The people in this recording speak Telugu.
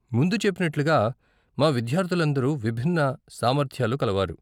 ముందు చెప్పినట్లుగా, మా విద్యార్ధులందరూ విభిన్న సామర్థ్యాలు కలవారు.